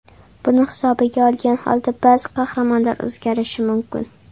Buni hisobga olgan holda ba’zi qahramonlar o‘zgarishi mumkin.